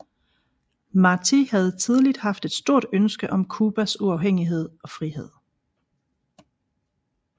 Martí havde tidligt haft et stort ønske om Cubas uafhængighed og frihed